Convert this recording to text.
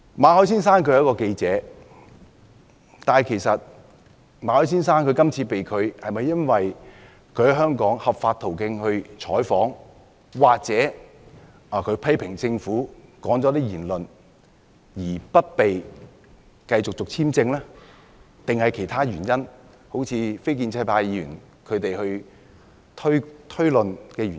馬凱先生是一名記者，今次他被拒入境，是否因為他在香港循合法途徑進行採訪或他曾批評政府，發表了一些言論，因而不獲續發簽證，還是有其他原因，如非建制派議員所推論的原因？